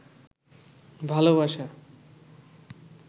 ভালবাসা